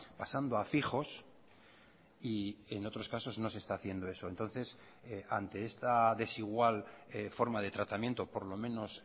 pasando a fijos y en otros casos no se está haciendo eso entonces ante esta desigual forma de tratamiento por lo menos